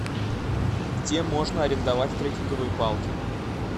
где можно арендовать трекинговые палки